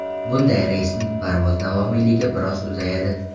Bunday reysning parvoz davomiyligi biroz uzayadi.